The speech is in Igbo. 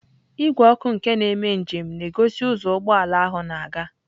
Igwe ọkụ nke ndị na-eme njem na-egosi ụzọ ụgbọ ala ahụ na-aga.